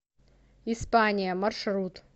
испания маршрут